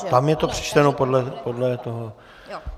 Ano, tam je to přečteno podle toho...